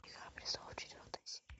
игра престолов четвертая серия